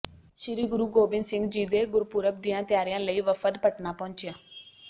ਸ੍ਰੀ ਗੁਰੂ ਗੋਬਿੰਦ ਸਿੰਘ ਜੀ ਦੇ ਗੁਰਪੁਰਬ ਦੀਆਂ ਤਿਆਰੀਆਂ ਲਈ ਵਫ਼ਦ ਪਟਨਾ ਪਹੁੰਚਿਆ